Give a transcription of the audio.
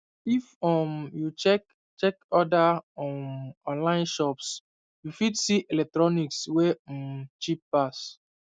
if um you check check other um online shops you fit see electronics wey um cheap pass